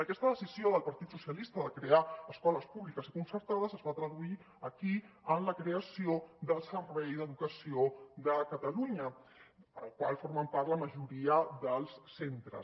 aquesta decisió del partit socialista de crear escoles públiques i concertades es va traduir aquí en la creació del servei d’educació de catalunya del qual formen part la majoria dels centres